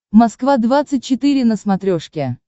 москва двадцать четыре на смотрешке